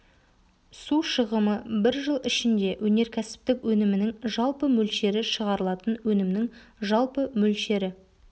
су шығымы бір жыл ішінде өнеркәсіптік өнімінің жалпы мөлшері шығарылатын өнімнің жалпы мөлшері